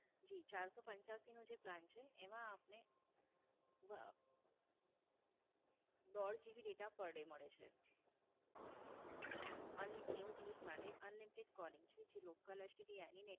જી, ચારસો પંચ્યાશી નો જે Plan છે એમાં આપને આહ દોઢ GB data per day મળે છે. હા, અનલી નેવું દિવસ માટે Unlimited calling છે જે Local STD any ને